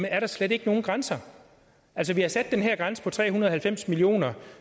er der slet ikke nogen grænser altså vi har sat den her grænse på tre hundrede og halvfems million kr